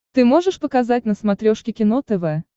ты можешь показать на смотрешке кино тв